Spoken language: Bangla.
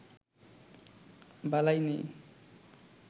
বালাই নেই